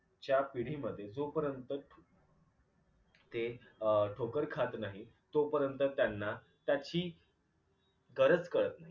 ज्या पिढीमध्ये जोपर्यंत ते अ ठोकर खात नाही तोपर्यंत त्यांना त्याची गरज कळत नाही.